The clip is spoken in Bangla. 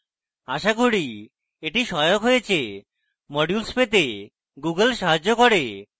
আশা করি এটি সহায়ক হয়েছে modules পেতে google সাহায্য করবে